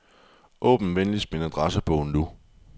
Åbn venligst min adressebog nu.